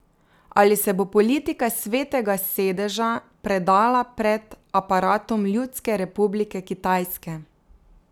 Ali se bo politika Svetega sedeža predala pred aparatom Ljudske republike Kitajske?